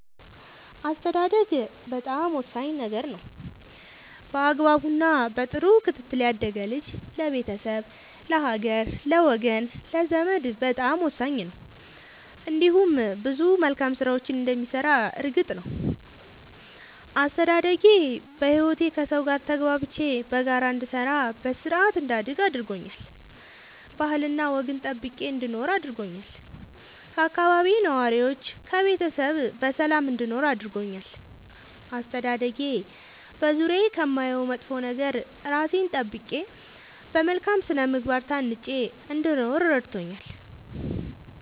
አስተዳደግ በጣም ወሳኝ ነገር ነው በአግባቡ እና በጥሩ ክትትል ያደገ ልጅ ለቤተሰብ ለሀገር ለወገን ለዘመድ በጣም ወሳኝ ነው እንዲሁም ብዙ መልካም ስራዎችን እንደሚሰራ እርግጥ ነው። አስተዳደጌ በህይወቴ ከሠው ጋር ተግባብቼ በጋራ እንድሰራ በስርአት እንዳድግ አድርጎኛል ባህልና ወግን ጠብቄ እንድኖር አድርጎኛል ከአካባቢዬ ነዋሪዎች ከቤተሰብ በሰላም እንድኖር አድርጎኛል። አስተዳደጌ በዙሪያዬ ከማየው መጥፎ ነገር እራሴን ጠብቄ በመልካም ስነ ምግባር ታንጬ እንድኖር እረድቶኛል።